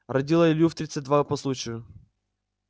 родила илью в тридцать два по случаю